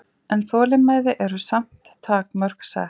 En þolinmæði eru samt takmörk sett